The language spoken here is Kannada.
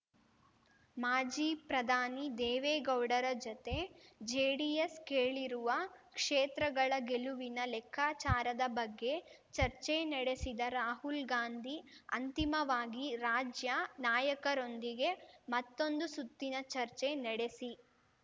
ಮಾಜಿ ಪ್ರಧಾನಿ ದೇವೇಗೌಡರ ಜತೆ ಜೆಡಿಎಸ್ ಕೇಳಿರುವ ಕ್ಷೇತ್ರಗಳ ಗೆಲುವಿನ ಲೆಕ್ಕಾಚಾರದ ಬಗ್ಗೆ ಚರ್ಚೆ ನಡೆಸಿದ ರಾಹುಲ್‌ಗಾಂಧಿ ಅಂತಿಮವಾಗಿ ರಾಜ್ಯ ನಾಯಕರೊಂದಿಗೆ ಮತ್ತೊಂದು ಸುತ್ತಿನ ಚರ್ಚೆ ನೆಡೆಸಿ